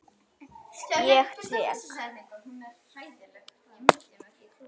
Ég tek